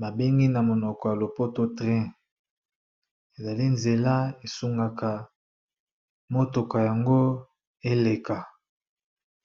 ba bengi na monoko ya lopoto train ezali nzela esungaka motuka yango eleka.